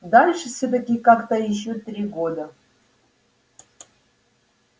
дальше всё-таки как-то ещё три года